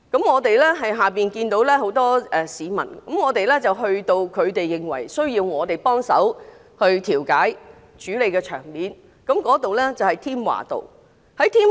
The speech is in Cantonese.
我們看到有很多市民，我們去到他們認為需要我們幫手調解處理的地方，在添華道。